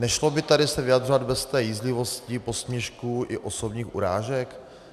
Nešlo by tady se vyjadřovat bez té jízlivosti, posměšků i osobních urážek?